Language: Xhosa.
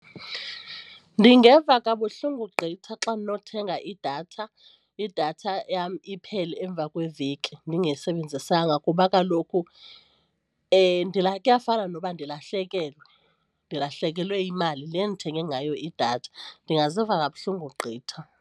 Ndingeva kabuhlungu gqitha xa ndinothenga idatha, idatha yam iphele emva kweveki ndingayisebenzisanga kuba kaloku kuyafana noba ndilahlekelwe ndilahlekelwe yimali le ndithenge ngayo idatha. Ndingaziva kabuhlungu gqitha.